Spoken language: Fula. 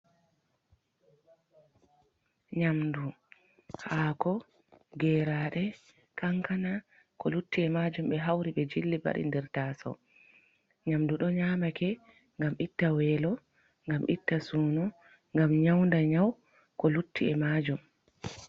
nNyamdu, Hako, Geraɗe, Kankana ko Lutti Emajum ɓe hauri ɓe Jilli, ɓewati nder Tasawo. Nyamdu ɗo Nyamake ngam Itta Welo, ngam Itta Suno, ngam Nyaunda Nyawu ko Lutti e Majum.